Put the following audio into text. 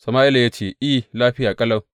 Sama’ila ya ce, I, lafiya ƙalau.